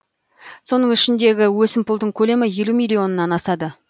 соның ішіндегі өсімпұлдың көлемі елу миллионнан асады